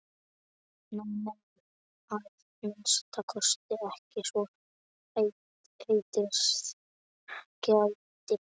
Nei, nei, að minnsta kosti ekki svo heitið gæti.